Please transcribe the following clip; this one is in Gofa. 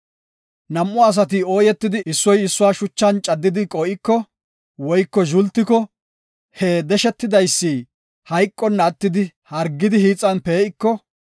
“Nam7u asati ooyetidi, issoy issuwa shuchan caddidi qoo7iko, woyko zhultiko, he deshetidaysi hayqonna attidi hargidi hiixan pee7iko,